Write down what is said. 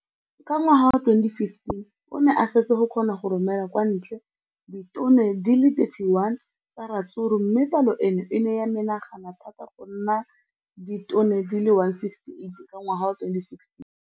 Ka ngwaga wa 2015, o ne a setse a kgona go romela kwa ntle ditone di le 31 tsa ratsuru mme palo eno e ne ya menagana thata go ka nna ditone di le 168 ka ngwaga wa 2016.